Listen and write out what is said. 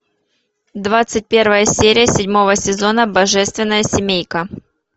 двадцать первая серия седьмого сезона божественная семейка